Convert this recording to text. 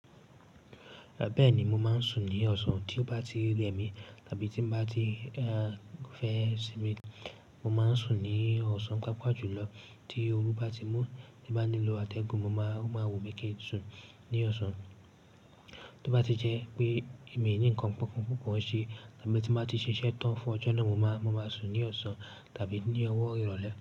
Bẹ́ẹ̀ni, mo máa ń sùn ní ọ̀sán, tí ó bá ti rẹ mi tàbí tí mo bá ti ẹ fẹ́ sinmi, mo máa ń sùn ní ọ̀sán. Pàápàá jùlọ tí ooru bá ti mú tí bá nílò atẹ́gun, mo máa o ma wùnmí ki sùn ní ọ̀sán. Tó bá ti jẹ́ pé èmi ni ń kan pọ́npọ́n pupo ṣe tàbí tí mo bá ti ṣiṣẹ́ tán fún ọjọ́ náà, mo máa sùn ní ọ̀sán tàbí ní ọwọ́ ìrọ̀lẹ́.